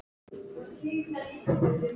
Hvernig komstu hingað?